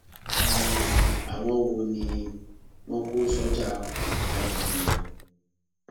um àwọn wo ni wọn kó sọjà apààyàn jáde ganan